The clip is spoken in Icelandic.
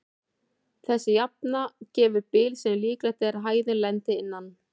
Þessi jafna gefur bil sem líklegt er að hæðin lendi innan.